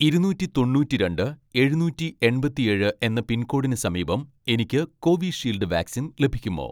ഇരുനൂറ്റി തൊണ്ണൂറ്റിരണ്ട്‍ എഴുന്നൂറ്റി എൺപത്തിയേഴ് എന്ന പിൻകോഡിന് സമീപം എനിക്ക് കോവിഷീൽഡ് വാക്സിൻ ലഭിക്കുമോ